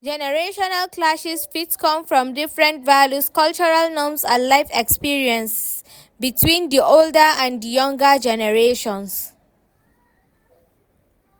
Generational clashes fit come from different values, cultural norms and life experiences between di older and di younger generations.